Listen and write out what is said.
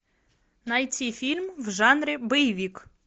найти фильм в жанре боевик